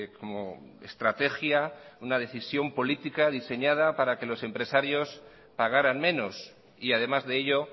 como estrategia una decisión política diseñada para que los empresarios pagaran menos y además de ello